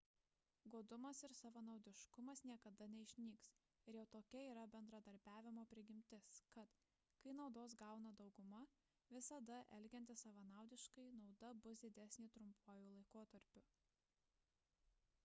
godumas ir savanaudiškumas niekada neišnyks ir jau tokia yra bendradarbiavimo prigimtis kad kai naudos gauna dauguma visada elgiantis savanaudiškai nauda bus didesnė trumpuoju laikotarpiu